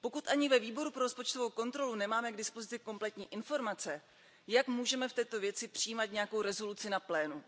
Pokud ani ve Výboru pro rozpočtovou kontrolu nemáme k dispozici kompletní informace, jak můžeme v této věci přijímat nějakou rezoluci na plénu?